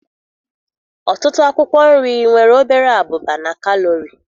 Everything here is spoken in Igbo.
Ọtụtụ akwụkwọ nri nwere obere abụba na kalori.